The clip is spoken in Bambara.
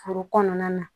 Foro kɔnɔna na